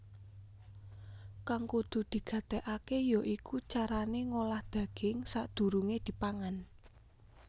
Kang kudu digatékaké ya iku carané ngolah daging sadurungé dipangan